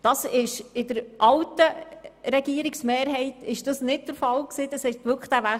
Das war unter der alten Regierungsmehrheit nicht der Fall.